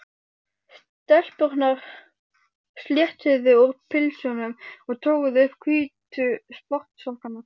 Stelpurnar sléttuðu úr pilsunum og toguðu upp hvítu sportsokkana.